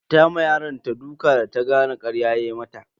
Ta ma yaronta duka da ta gane karya ya mata.